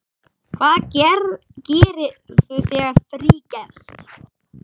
Hvað gerirðu þegar frí gefst?